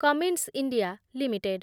Cummins India limited